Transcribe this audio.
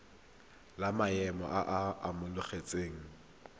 la maemo a a amogelesegang